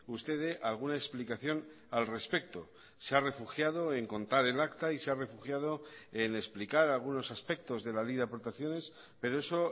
usted dé alguna explicación al respecto se ha refugiado en contar el acta y se ha refugiado en explicar algunos aspectos de la ley de aportaciones pero eso